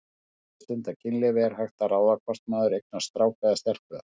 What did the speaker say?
Þegar maður stundar kynlíf er hægt að ráða hvort maður eignast strák eða stelpu?